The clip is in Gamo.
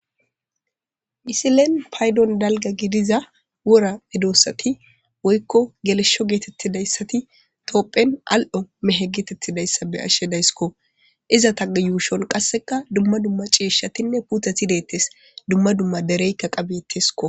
Isilen paydon dalga gidiza wora midoossati woykko gelesho geetettidayssati toopphen al'o mehe geetettidayssa be ashshe daysko iza taga yuushon qasseka dumma dumma ciishshatinne puthathi deettes dumma dumma dereykka qabettesko.